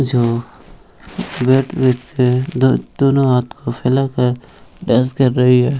जो दो दोनों हाथ को फैला कर डांस कर रही है।